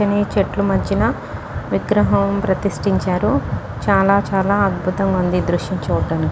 పచ్చని చెట్లు మధ్యన విగ్రహం ప్రతిష్టించారుచాలా చాలా అద్భుతంగా ఉంది ఈ దృశ్యం చూడటానికి.